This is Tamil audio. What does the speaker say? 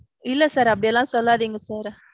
இல்ல sir. அப்பிடி எல்லாம் சொல்லாதீங்க sir.